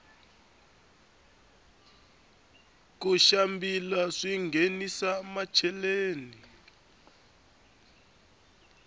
ku xambila swinghenisa macheleni